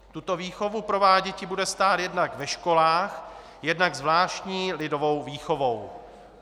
Tuto výchovu prováděti bude stát jednak ve školách, jednak zvláštní lidovou výchovou.